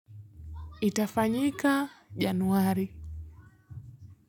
Itafanyika januari.